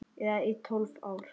Eða í tólf ár?